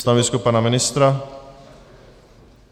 Stanovisko pana ministra?